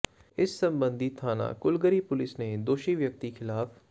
ਇਸ ਸਬੰਧੀ ਥਾਣਾ ਕੁਲਗੜ੍ਹੀ ਪੁਲਿਸ ਨੇ ਦੋਸ਼ੀ ਵਿਅਕਤੀ ਖ਼ਿਲਾਫ਼